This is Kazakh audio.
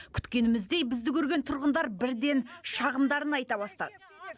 күткеніміздей бізді көрген тұрғындар бірден шағымдарын айта бастады